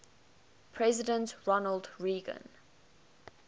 president ronald reagan